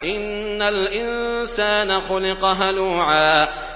۞ إِنَّ الْإِنسَانَ خُلِقَ هَلُوعًا